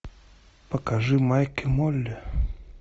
покажи майк и молли